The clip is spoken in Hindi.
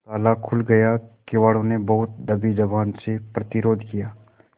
ताला खुल गया किवाड़ो ने बहुत दबी जबान से प्रतिरोध किया